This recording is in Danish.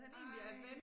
Ej